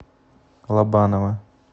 лобанова